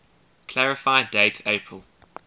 clarify date april